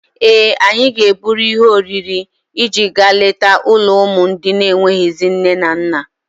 Ee, anyị ga-eburu ihe oriri iji gaa leta ụlọ ụmụ ndị enweghịzị nne na nna.